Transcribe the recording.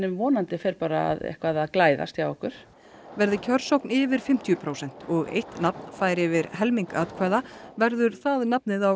vonandi fer eitthvað að glæðast hjá okkur verði kjörsókn yfir fimmtíu prósent og eitt nafn fær yfir helming atkvæða verður það nafn á